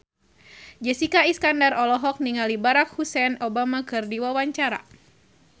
Jessica Iskandar olohok ningali Barack Hussein Obama keur diwawancara